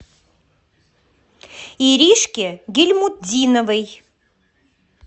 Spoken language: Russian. иришке гильмутдиновой